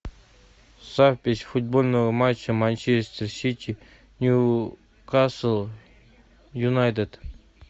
запись футбольного матча манчестер сити ньюкасл юнайтед